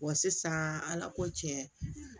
Wa sisan ala ko tiɲɛ